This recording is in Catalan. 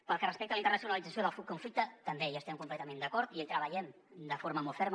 pel que respecta a la internacionalització del conflicte també hi estem completament d’acord i hi treballem de forma molt ferma